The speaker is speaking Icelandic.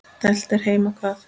Dælt er heima hvað.